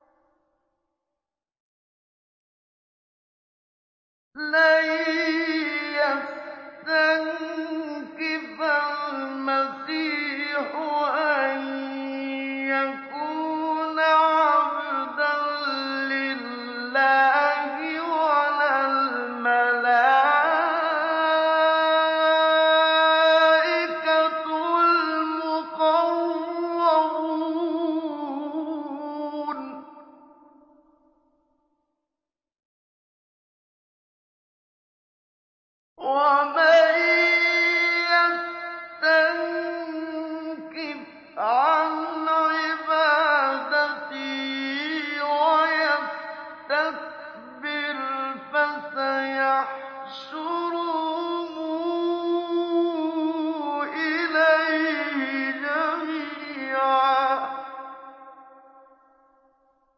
لَّن يَسْتَنكِفَ الْمَسِيحُ أَن يَكُونَ عَبْدًا لِّلَّهِ وَلَا الْمَلَائِكَةُ الْمُقَرَّبُونَ ۚ وَمَن يَسْتَنكِفْ عَنْ عِبَادَتِهِ وَيَسْتَكْبِرْ فَسَيَحْشُرُهُمْ إِلَيْهِ جَمِيعًا